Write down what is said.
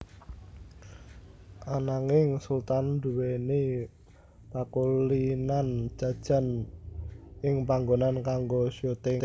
Ananging Sultan nduwèni pakulinan jajan ing panggonan kanggo syuting